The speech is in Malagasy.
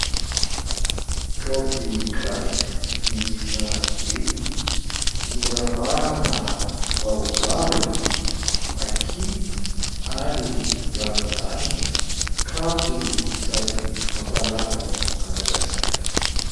Kaopy gasy miisa enina, noravahana baobaba, maky ary ravinala. Kanto sady mampalaza an'i Madagasikara.